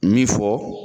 Min fɔ